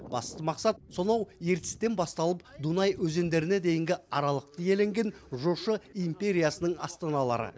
басты мақсат сонау ертістен басталып дунай өзендеріне дейінгі аралықты иеленген жошы империясының астаналары